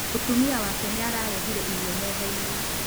Mutumia wake nĩ aharĩirie irio metha-inĩ